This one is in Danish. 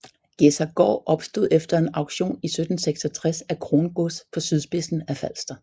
Gjedsergaard opstod efter en auktion i 1766 af krongods på sydspidsen af Falster